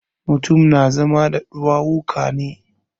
Mutum na zama da ɗuwawuka ne.